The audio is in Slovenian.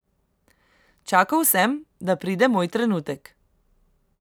Čakal sem, da pride moj trenutek.